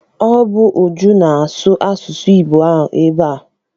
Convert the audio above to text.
Ọ bụ Uju na-asụ asụsụ Igbo ahụ ebe ahụ.